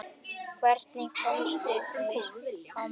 Hvernig komust þeir á mótið?